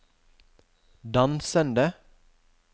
dansende